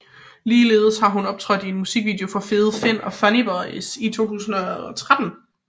Ligeledes har hun optrådt i en musikvideo for Fede Finn og Funny Boyz i 2013